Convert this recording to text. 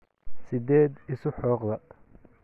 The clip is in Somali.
Sideed isu xoqdaa?